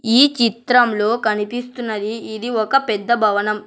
ఈ చిత్రంలో కనిపిస్తున్నది ఇది ఒక పెద్ద భవనం.